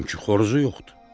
Çünki xoruzu yoxdur.